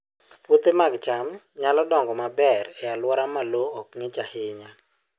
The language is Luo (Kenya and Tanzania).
Puothe mag cham nyalo dongo maber e alwora ma lowo ok ng'ich ahinya